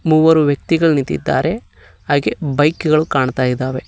ಮೂರು ವ್ಯಕ್ತಿಗಳು ನಿಂತಿದ್ದಾರೆ ಹಾಗೆ ಬೈಕ್ ಗಳು ಕಾಣ್ತಾ ಇದಾವೆ.